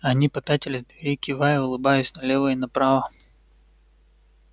они попятились к двери кивая и улыбаясь налево и направо